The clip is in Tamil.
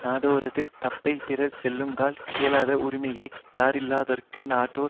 நட்டோரது தப்பைப் பிறர் சொல்லுங்கால் கேளாத உரிமையை யறியவல்லார்க்கு நட்டோர்